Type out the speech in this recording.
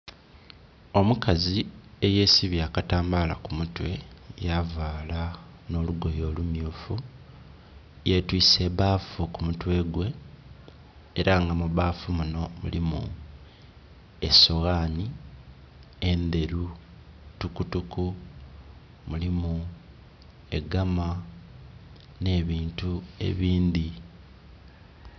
Omukazi eyesibye akatambala ku mutwe ya vaala nho lugoye olumyufu, yetwise ebbafu ku mutwe gwe era nga mu bbafu munho mulimu esoghanhi endheru tukutuku, mulimu egaama nhe bintu ebindhi.